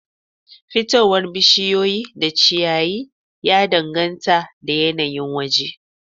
Fitowar bishiyu da ciyaye da dangata da yanayin waje